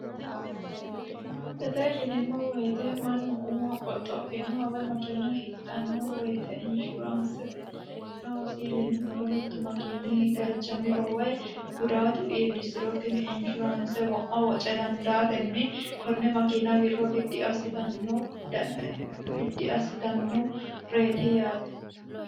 Insurancete yineemmo woyte mannu umo qoxophanoha woyi makina hidhano woyte insurancete noosi yinuummoro kaameelu galchamiro woyi gudatu iillisiro tini insurance wo'ma woce dandaatenni kone makina wirro biddi assittanoreti yaate.